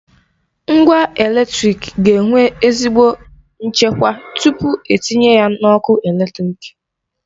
Ngwa eletrịk ga enwe ezigbo nchekwa tupu etinye ya n'ọkụ eletrịk.